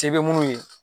Se bɛ munnu ye